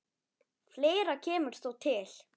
Fleira kemur þó til.